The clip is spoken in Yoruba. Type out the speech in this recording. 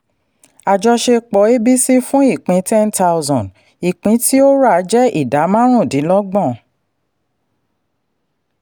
àjọṣepọ̀ abc fún ipín ten thousand ìpín tí o ra jẹ́ ida márùndínlọ́gbọ̀n.